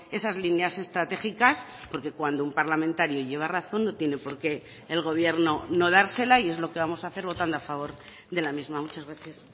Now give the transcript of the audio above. esas líneas estratégicas porque cuando un parlamentario lleva razón no tiene por qué el gobierno no dársela y es lo que vamos a hacer votando a favor de la misma muchas gracias